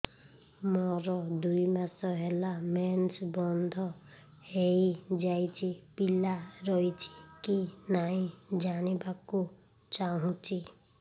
ମୋର ଦୁଇ ମାସ ହେଲା ମେନ୍ସ ବନ୍ଦ ହେଇ ଯାଇଛି ପିଲା ରହିଛି କି ନାହିଁ ଜାଣିବା କୁ ଚାହୁଁଛି